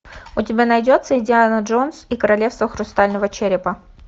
у тебя найдется индиана джонс и королевство хрустального черепа